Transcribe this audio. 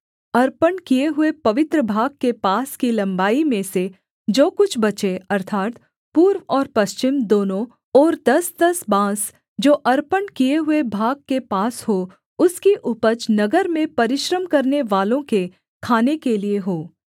अर्पण किए हुए पवित्र भाग के पास की लम्बाई में से जो कुछ बचे अर्थात् पूर्व और पश्चिम दोनों ओर दसदस बाँस जो अर्पण किए हुए भाग के पास हो उसकी उपज नगर में परिश्रम करनेवालों के खाने के लिये हो